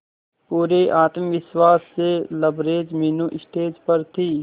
पूरे आत्मविश्वास से लबरेज मीनू स्टेज पर थी